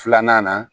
Filanan na